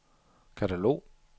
katalog